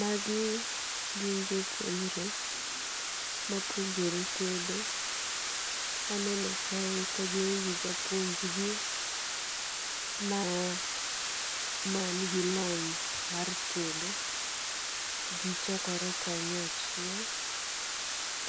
Magi gin jopuonjre ma puonjore tedo. Aneno kae ka gin gi japuonj gi ma man gi lony mar tedo. Gichokore kanyachiel.